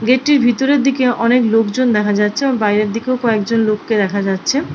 Gate টির ভিতরের দিকে অনেক লোকজন দেখা যাচ্ছে বাইরের দিকে কয়েকজন লোককে দেখা যাচ্ছে।